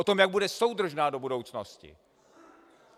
O tom, jak bude soudržná do budoucnosti.